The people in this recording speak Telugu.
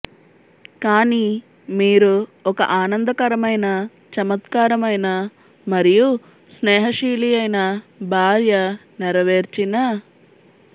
కానీ మీరు ఒక ఆనందకరమైన చమత్కారమైన మరియు స్నేహశీలియైన భార్య నెరవేర్చిన